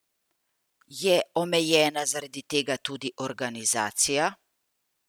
Je omejena zaradi tega tudi organizacija?